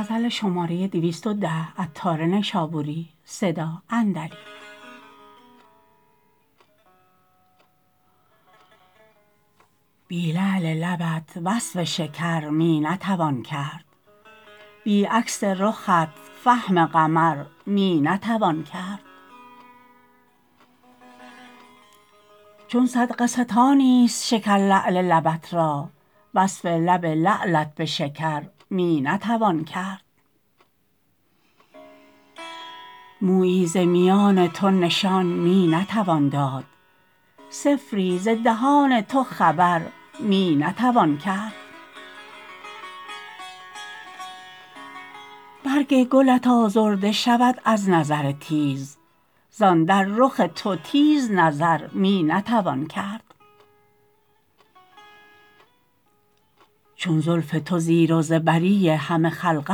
بی لعل لبت وصف شکر می نتوان کرد بی عکس رخت فهم قمر می نتوان کرد چون صدقه ستانی است شکر لعل لبت را وصف لب لعلت به شکر می نتوان کرد مویی ز میان تو نشان می نتوان داد صفری ز دهان تو خبر می نتوان کرد برگ گلت آزرده شود از نظر تیز زان در رخ تو تیز نظر می نتوان کرد چون زلف تو زیر و زبری همه خلق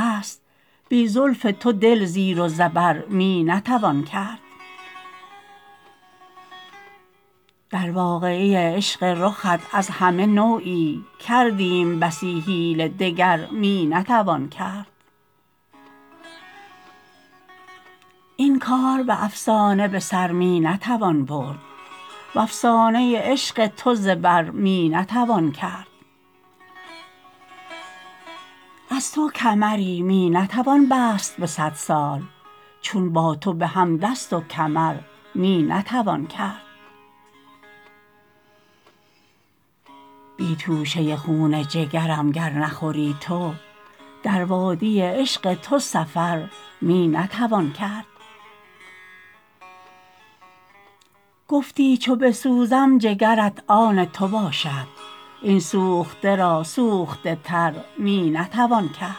است بی زلف تو دل زیر و زبر می نتوان کرد در واقعه عشق رخت از همه نوعی کردیم بسی حیله دگر می نتوان کرد این کار به افسانه به سر می نتوان برد وافسانه عشق تو زبر می نتوان کرد از تو کمری می نتوان بست به صد سال چون با تو به هم دست و کمر می نتوان کرد بی توشه خون جگرم گر نخوری تو در وادی عشق تو سفر می نتوان کرد گفتی چو بسوزم جگرت آن تو باشم این سوخته را سوخته تر می نتوان کرد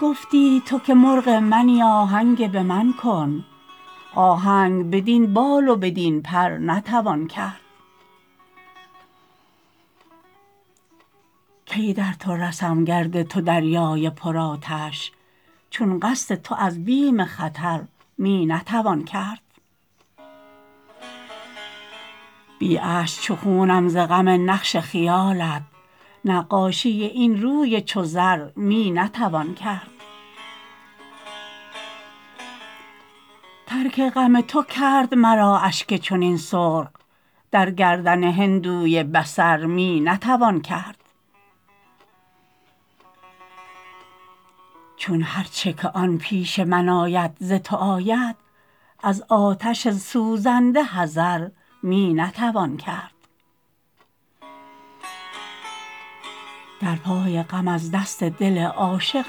گفتی تو که مرغ منی آهنگ به من کن آهنگ بدین بال و بدین پر نتوان کرد کی در تو رسم گرد تو دریای پر آتش چون قصد تو از بیم خطر می نتوان کرد بی اشک چو خونم ز غم نقش خیالت نقاشی این روی چو زر می نتوان کرد ترک غم تو کرد مرا اشک چنین سرخ در گردن هندوی بصر می نتوان کرد چون هر چه که آن پیش من آید ز تو آید از آتش سوزنده حذر می نتوان کرد در پای غم از دست دل عاشق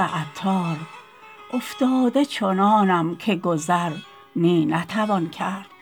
عطار افتاده چنانم که گذر می نتوان کرد